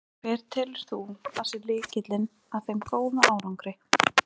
Hver telur þú að sé lykillinn að þeim góða árangri?